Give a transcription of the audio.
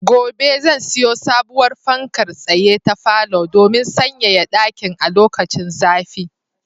Gobe ​​zan siyo sabowar fankar tsaye ta falo domin sanyaya ɗakin a lokacin zafi.